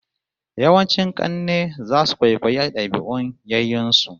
Yawancin kanne zasu kwaikwayi dabi'un yayyen su